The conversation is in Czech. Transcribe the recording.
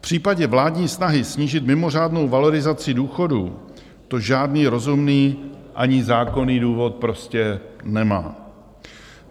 V případě vládní snahy snížit mimořádnou valorizaci důchodů to žádný rozumný ani zákonný důvod prostě nemá.